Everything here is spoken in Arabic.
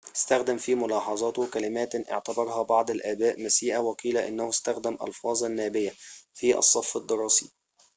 استخدم في ملاحظاته كلماتٍ اعتبرها بعض الآباء مسيئة وقيل إنه استخدم ألفاظاً نابيةً في الصف الدراسي